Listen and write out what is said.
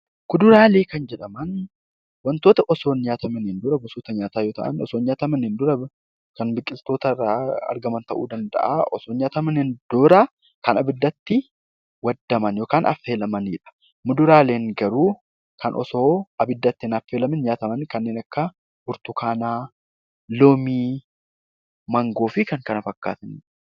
Kuduraalee kan jedhaman wantoota osoo hin nyaatamiin dura gosoota nyaataa yoo ta'an, erga nyaatamaniin boodaa kan biqiloota irraa argaman ta'uu ni danda'u. Osoo hin nyaatamiin dura kan abiddatti waadaman yookaan affeelamanidha. Muduraaleen garuu kan osoo abiddatti hin affeelamiin nyaataman kanneen akka burtukaanaa , loomii, maangoo fi kan kana fakkaatan